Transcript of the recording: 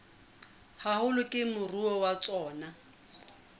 haholo ke moruo wa tsona